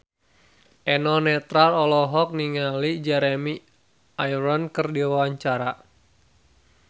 Eno Netral olohok ningali Jeremy Irons keur diwawancara